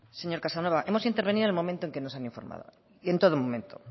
señor casanova hemos intervenido en el momento en el que nos han informado y en todo momento